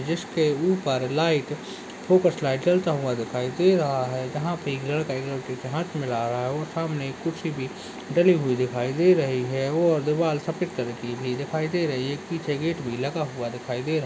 जिसके ऊपर light focus light जलता हुआ दिखाई दे रहा है यहाँ पे एक लड़का और एक लड़की से हाथ मिला रहा है और सामने कुर्सी भी डली दिखाई दे रही है और दीवाल सफ़ेद कलर की दिखाई दे रही है और पीछे गेट लगा भी दिखाई दे रहा --